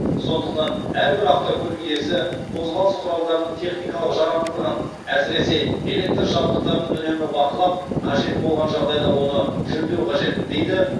сондықтан әрбір автокөлік иесі қозғалыс құралдарының техникалық жарамдылығын әсіресе электр жабдықтарын үнемі бақылап қажет болған жағдайда оны жөндеуі қажет дейді